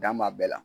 Dan b'a bɛɛ la